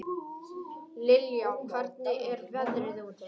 Liljá, hvernig er veðrið úti?